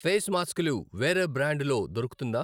Face మాస్కులు వేరే brand లో దొరుకుతుందా?